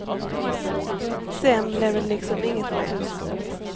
Sen blev det liksom inget mer.